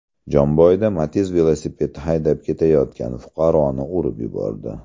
Jomboyda Matiz velosiped haydab ketayotgan fuqaroni urib yubordi.